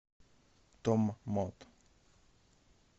томмот